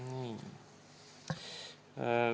Nii.